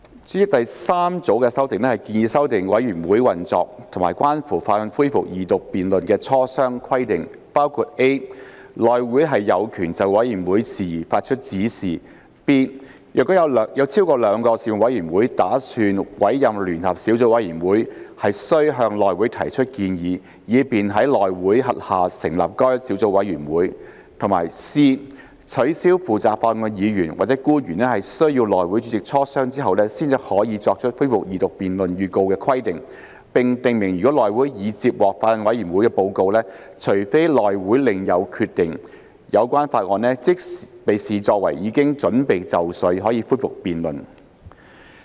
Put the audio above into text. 主席，第三組的修訂建議修訂委員會運作及關乎法案恢復二讀辯論的磋商規定，包括 ：a 內會有權就委員會事宜發出指示 ；b 若有超過兩個事務委員會打算委任聯合小組委員會，須向內會提出建議，以便在內會轄下成立該小組委員會；以及 c 取消負責法案的議員或官員須與內會主席磋商後才可作出恢復二讀辯論預告的規定，並訂明如內會已接獲法案委員會報告，除非內會另有決定，有關法案即視作已經準備就緒，可以恢復辯論。